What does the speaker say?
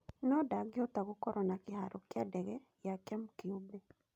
No-ndangĩhota gũkorwo na kĩharo kĩa ndege gĩake kĩũmbe.